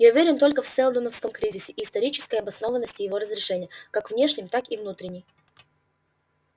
я уверен только в сэлдоновском кризисе и исторической обоснованности его разрешения как внешнем так и внутренней